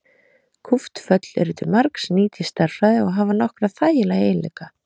Kúpt föll eru til margs nýt í stærðfræði og hafa nokkra þægilega eiginleika.